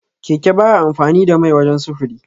Keke baya amfani da mai wajan sufuri.